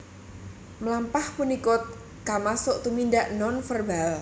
Mlampah punika kamasuk tumindak nonverbal